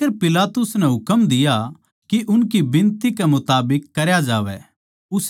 आखर पिलातुस नै हुकम दिया के उनकी बिनती के मुताबिक करया जावै